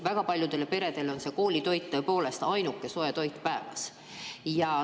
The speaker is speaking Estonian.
Väga paljude perede lastele on koolitoit tõepoolest ainuke soe toit päevas.